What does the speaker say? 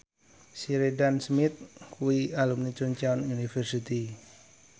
Sheridan Smith kuwi alumni Chungceong University